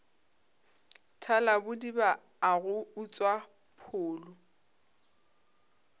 thalabodiba a go utswa pholo